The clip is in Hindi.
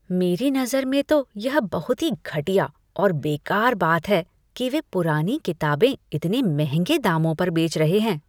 मेरी नज़र में तो यह बहुत ही घटिया और बेकार बात है कि वे पुरानी किताबें इतने महंगे दामों पर बेच रहे हैं।